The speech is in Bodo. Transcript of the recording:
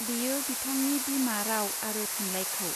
बेयो बिथांनि बिमा राव आरो थुनलाइखौ.